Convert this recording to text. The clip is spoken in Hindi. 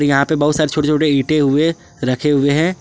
यहां पे बहुत सारे छोटे छोटे ईंटे हुए रखे हुए हैं।